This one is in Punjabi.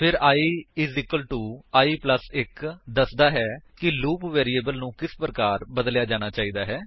ਫਿਰ i i 1 ਦੱਸਦਾ ਹੈ ਕਿ ਲੂਪ ਵੈਰਿਏਬਲ ਨੂੰ ਕਿਸ ਪ੍ਰਕਾਰ ਬਦਲਿਆ ਜਾਣਾ ਹੈ